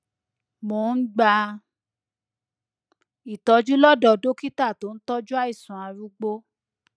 mo ń gba ìtọjú lọdọ dókítà tó ń tọjú àìsàn arúgbó